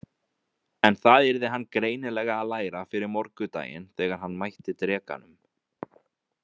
En það yrði hann greinilega að læra fyrir morgundaginn þegar hann mætti drekanum.